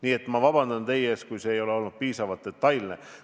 Nii et ma palun teie ees vabandust, kui see info ei ole olnud piisavalt detailne.